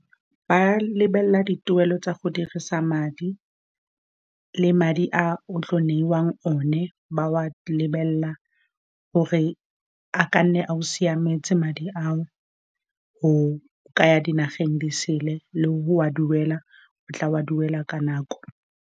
Ba lebelela dituelo tsa go dirisa madi le madi a o tlo neiwang one, ba wa lebelela gore a ka nne a go siametse madi ao, o kaya dinageng disele le hore wa duela, o tla wa duela ka nako.